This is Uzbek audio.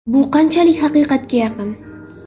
Bu qanchalik haqiqatga yaqin?